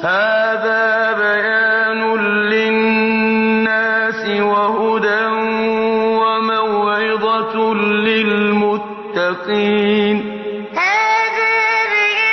هَٰذَا بَيَانٌ لِّلنَّاسِ وَهُدًى وَمَوْعِظَةٌ لِّلْمُتَّقِينَ هَٰذَا بَيَانٌ